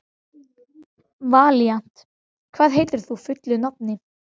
Ég get ekki fallist á tillögur þínar sagði ég.